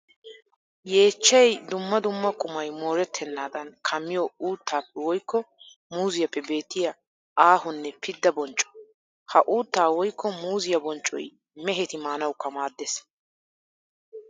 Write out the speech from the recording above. Yeechchay dumma dumma qumay mooretenaddan kammiyo uuttappe woykko muuzziyappe beettiya aahonne pidda boncco. Ha uuttaa woykko muuzziya bonccoy mehetti maanawukka maades.